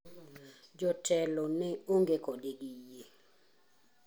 Jotelo ne ong'e kode gi yie.